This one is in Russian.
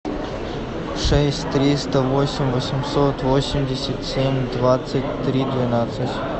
шесть триста восемь восемьсот восемьдесят семь двадцать три двенадцать